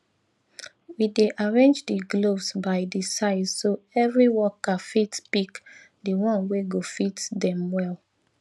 we dey arrange di gloves by di size so every workerfit pick di one wey go fit dem well